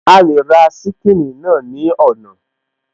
A lè ra ṣíkìnnì náà ní ọ̀nà